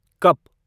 cup